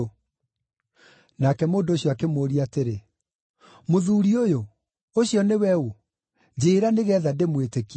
Nake mũndũ ũcio akĩmũũria atĩrĩ, “Mũthuuri ũyũ, ũcio nĩwe ũ? Njĩĩra, nĩgeetha ndĩmwĩtĩkie.”